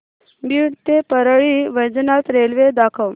बीड ते परळी वैजनाथ रेल्वे दाखव